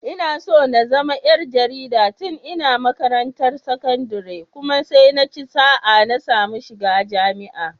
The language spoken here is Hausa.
Na so na zama ƴar jarida tun ina makarantar sakandire kuma sai naci sa'a na samu shiga jami'a.